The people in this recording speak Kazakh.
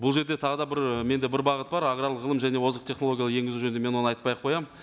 бұл жерде тағы да бір менде бір бағыт бар аграрлық ғылым және озық технологиялар енгізу жөнінде мен оны айтпай ақ қоямын